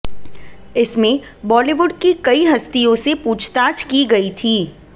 इसमें बॉलीवुड की कई हस्तियों से पूछताछ की गई थी